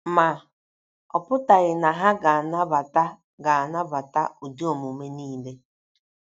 Ma, ọ pụtaghị na ha ga - anabata ga - anabata ụdị omume niile.